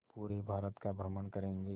पूरे भारत का भ्रमण करेंगे